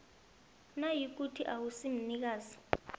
nayikuthi awusi mnikazi